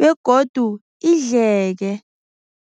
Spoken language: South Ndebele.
begodu idleke.